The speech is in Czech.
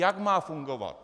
Jak má fungovat.